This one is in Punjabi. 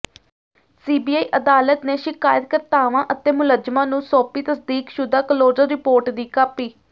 ਸੀਬੀਆਈ ਅਦਾਲਤ ਨੇ ਸ਼ਿਕਾਇਤ ਕਰਤਾਵਾਂ ਅਤੇ ਮੁਲਜ਼ਮਾਂ ਨੂੰ ਸੌਂਪੀ ਤਸਦੀਕਸ਼ੁਦਾ ਕਲੋਜਰ ਰਿਪੋਰਟ ਦੀ ਕਾਪੀ